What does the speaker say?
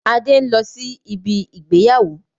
Adé n lọ sí ibi ìgbéyàwó